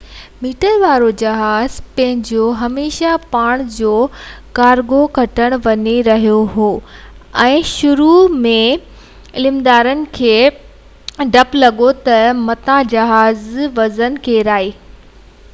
100 metre وارو جهاز پنهنجو هميشہ ڀاڻ جو ڪارگو کڻڻ وڃي رهيو هو ۽ شروع ۾ عملدارن کي ڊپ لڳو تہ متان جهاز وزن ڪيرائي